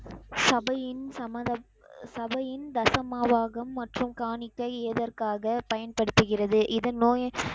சபையின் சம்மதம், அஹ் சபையின் தசமபாகம் மற்றும் காணிக்கை எதற்காக பயன்படுத்துகிறது? இதன் நோயை,